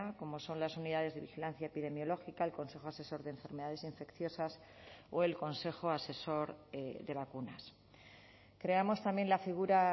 como son las unidades de vigilancia epidemiológica el consejo asesor de enfermedades infecciosas o el consejo asesor de vacunas creamos también la figura